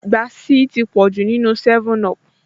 Gáàsì ti pọ̀jù nínúu 7up